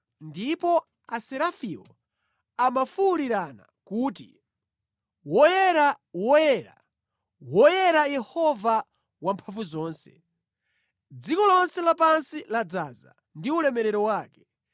Ndipo Aserafiwo amafuwulirana kuti “Woyera, woyera, woyera Yehova Wamphamvuzonse. Dziko lonse lapansi ladzaza ndi ulemerero wake.”